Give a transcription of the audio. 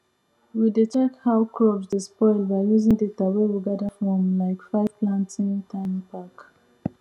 we dey check how crops dey spoil by using data wey we gather from like five planting time back